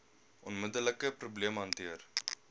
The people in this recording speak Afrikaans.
onmiddelike probleem hanteer